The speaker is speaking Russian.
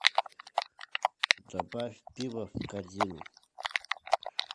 добавь пиво в корзину